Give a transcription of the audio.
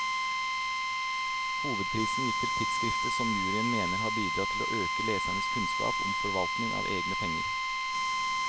Hovedprisen gikk til tidskriftet, som juryen mener har bidratt til å øke lesernes kunnskap om forvaltning av egne penger.